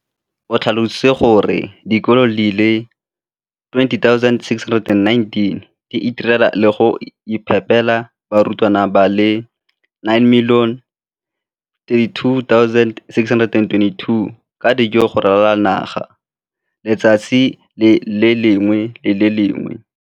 O tlhalositse gore dikolo di le 20 619 di itirela le go iphepela barutwana ba le 9 032 622 ka dijo go ralala naga letsatsi le lengwe le le lengwe.